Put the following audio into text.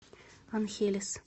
анхелес